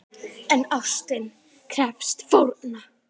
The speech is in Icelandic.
En ástin krefst fórna!